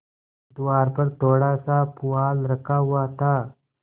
द्वार पर थोड़ासा पुआल रखा हुआ था